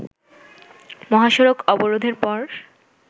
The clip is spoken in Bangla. মহাসড়ক অবরোধের পর